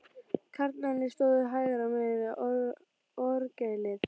Karlarnir stóðu hægra megin við orgelið.